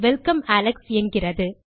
அது welcome Alex என்கிறது